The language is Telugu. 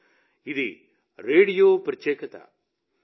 కానీ ఇది రేడియో ప్రత్యేకత